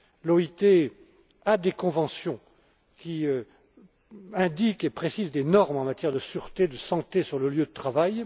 L'OIT a des conventions qui établissent et précisent des normes en matière de sûreté, de santé sur le lieu de travail.